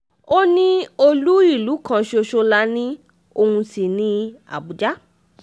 ó ní olú ìlú kan ṣoṣo la ní ọ̀hún sí ní àbújá